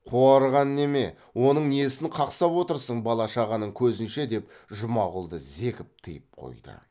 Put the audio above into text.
қуарған неме оның несін қақсап отырсын бала шағаның көзінше деп жұмағұлды зекіп тыйып қойды